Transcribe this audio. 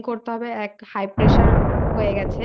বলছে যে ওনার খাওয়া দাওয়া একদম Maintain করতে